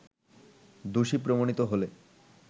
দোষী প্রমাণিত হলে